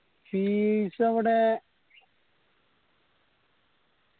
fees അവിടെ